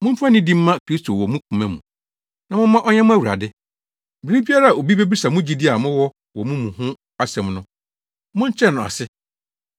Momfa nidi mma Kristo wɔ mo koma mu, na momma ɔnyɛ mo Awurade. Bere biara a obi bebisa mo gyidi a mowɔ wɔ mo mu ho asɛm no, monkyerɛ no ase.